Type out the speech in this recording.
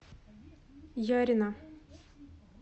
ярина